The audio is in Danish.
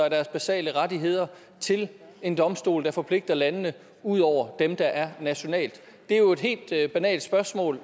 af deres basale rettigheder til en domstol der forpligter landene ud over dem der er nationalt det er jo et helt banalt spørgsmål